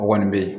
O kɔni bɛ ye